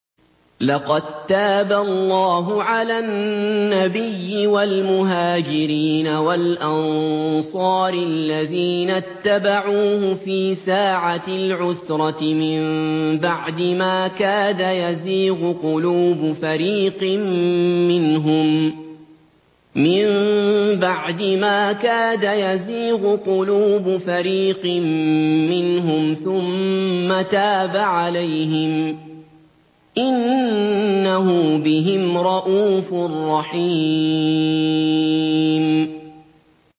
لَّقَد تَّابَ اللَّهُ عَلَى النَّبِيِّ وَالْمُهَاجِرِينَ وَالْأَنصَارِ الَّذِينَ اتَّبَعُوهُ فِي سَاعَةِ الْعُسْرَةِ مِن بَعْدِ مَا كَادَ يَزِيغُ قُلُوبُ فَرِيقٍ مِّنْهُمْ ثُمَّ تَابَ عَلَيْهِمْ ۚ إِنَّهُ بِهِمْ رَءُوفٌ رَّحِيمٌ